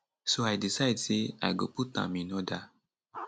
so i decide say i go put am in order